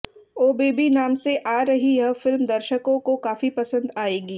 ओ baby नाम से आ रही यह फिल्म दर्शकों को काफी पसंद आएगी